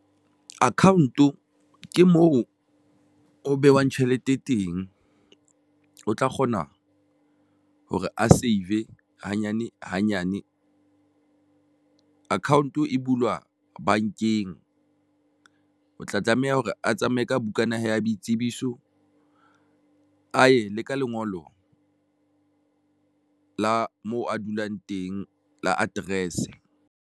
Account o ke moo ho behwang tjhelete e teng, o tla kgona re a save e hanyane hanyane. Account-o e bulwa bankeng o tla tlameha hore a tsamaye ka bukana ya boitsebiso ae le ka lengolo la moo a dulang teng la address.